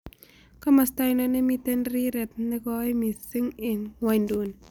Komosto ainon nemiten rireet negoi misiing' eng' ng'wonyduni